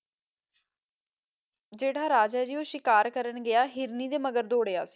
ਜੇਰਹਾ ਰਾਜਾ ਆਯ ਜੀ ਊ ਸ਼ਿਕਾਰ੍ਕਰਣ ਗਯਾ ਹਿਰਨੀ ਦੇ ਮਗਰ ਦੋਰਯ ਸੀ